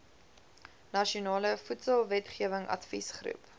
nasionale voedselwetgewing adviesgroep